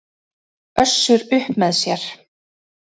Össur upp með sér.